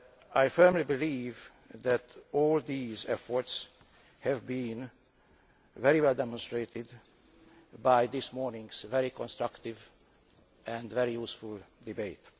I firmly believe that all these efforts have been very well demonstrated by this morning's very constructive and very useful debate.